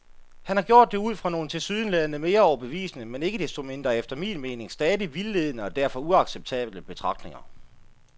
Han har gjort det ud fra nogle tilsyneladende mere overbevisende, men ikke desto mindre efter min mening stadig vildledende og derfor uacceptable betragtninger.